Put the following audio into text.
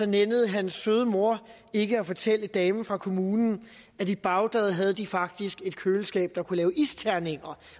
nænnede hans søde mor ikke at fortælle damen fra kommunen at i bagdad havde de faktisk haft et køleskab der kunne lave isterninger